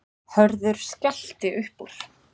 Hörður skellti upp úr.